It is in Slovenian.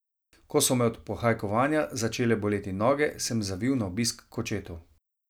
Ko so me od pohajkovanja začele boleti noge, sem zavil na obisk k očetu.